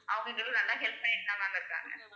அவுங்களும் நல்லா help பண்ணிட்டுதான் ma'am இருக்காங்க